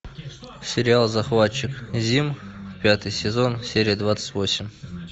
сериал захватчик зим пятый сезон серия двадцать восемь